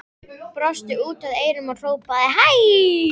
Brosti út að eyrum og hrópaði hæ!